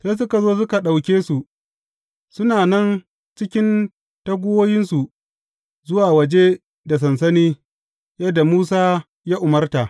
Sai suka zo suka ɗauke su, suna nan cikin taguwoyinsu, zuwa waje da sansani yadda Musa ya umarta.